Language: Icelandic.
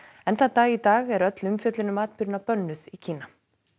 enn þann dag í dag er öll umfjöllun um atburðina bönnuð í Kína